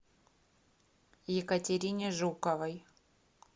екатерине жуковой